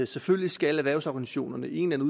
selvfølgelig skal erhvervsorganisationerne i en eller